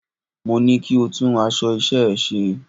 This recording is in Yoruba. Mo ní kí o tún aṣọ iṣẹ́ ẹ ṣe!